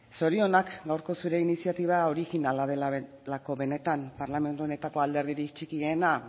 zorionak gaurko zure iniziatiba orijinala delako benetan parlamentu honetako alderdirik txikiena